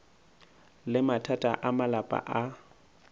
le mathata a malapa a